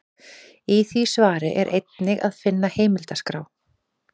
Í því svari er einnig að finna heimildaskrá.